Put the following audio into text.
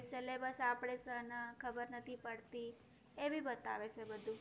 syllabus આપણે ખબર નથી પડતી. એ ભી બતાવે છે બધું.